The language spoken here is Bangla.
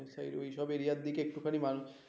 ওই সব এরিয়ার দিকে একটুখানি মানুষ